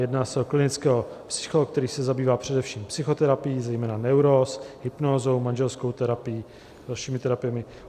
Jedná se o klinického psychologa, který se zabývá především psychoterapií zejména neuróz, hypnózou, manželskou terapií, dalšími terapiemi.